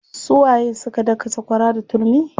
Su waye suka daka sakwara da turmi?